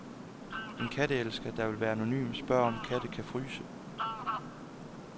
En katteelsker, der vil være anonym, spørger, om katte kan fryse.